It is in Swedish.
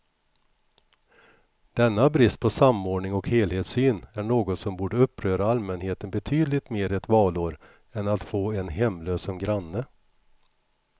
Denna brist på samordning och helhetssyn är något som borde uppröra allmänheten betydligt mer ett valår än att få en hemlös som granne.